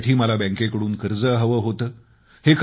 तिच्यासाठी मला बँकेकडून कर्ज हवं होतं